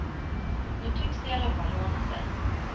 Nu tycks det i alla fall ordna sig.